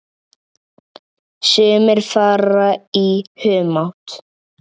Sumir fara í humátt.